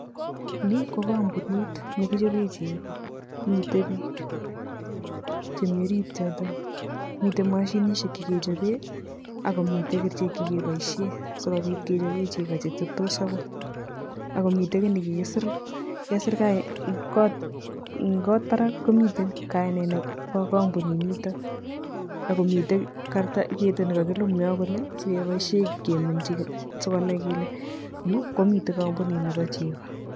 Ni ko kampunit nekichope chego, mitei biik chemi ariit yoto, mitei mashinisiek chekechope ako mitei kerichek chekepoishe asikopit kechop chego cheteptos akoi ako mitei kiiy nekikisiir, kesiir kot, eng kot barak komitei kainet nebo kampunit nito ako mitei ketit nekakilum yo kole sikepoishe keminchi sikonai kele yu komi kampunitab chego.